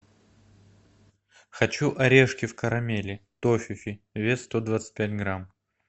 хочу орешки в карамели тофифи вес сто двадцать пять грамм